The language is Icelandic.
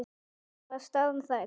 Var staðan rædd?